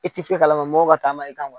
I tɛ fe kalama mɔgɔw ka taama i kan.